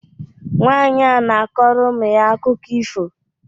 Nwanyị a na-akọrọ ụmụ ya akụkọ ifo